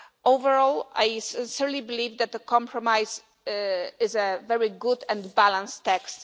Overall I certainly believe that the compromise is a very good and balanced text.